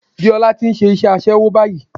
Déọlá ti nse isé aṣẹ́wó báyìí